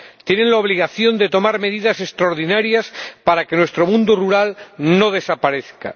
Tienen la obligación de tomar medidas extraordinarias para que nuestro mundo rural no desaparezca.